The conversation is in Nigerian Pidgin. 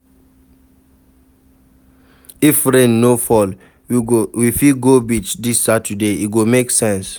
If rain no fall, we fit go beach dis Saturday, e go make sense.